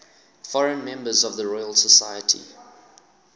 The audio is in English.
foreign members of the royal society